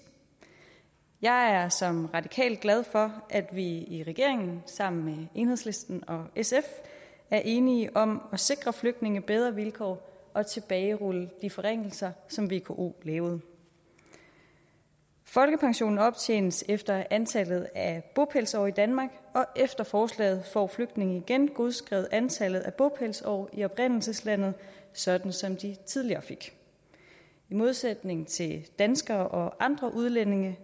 jeg er som radikal glad for at vi i regeringen sammen med enhedslisten og sf er enige om at sikre flygtninge bedre vilkår og tilbagerulle de forringelser som vko lavede folkepensionen optjenes efter antallet af bopælsår i danmark og efter forslaget får flygtninge igen godskrevet antallet af bopælsår i oprindelseslandet sådan som de tidligere fik i modsætning til danskere og andre udlændinge